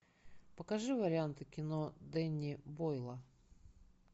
покажи варианты кино дэнни бойла